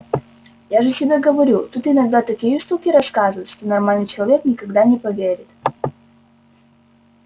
я же тебе говорю тут иногда такие штуки рассказывают что нормальный человек никогда не поверит